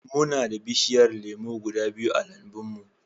Muna da bishiyar lemu guda biyu a lambun mu.